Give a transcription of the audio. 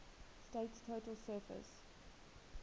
state's total surface